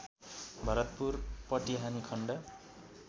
भरतपुर पटिहानि खण्ड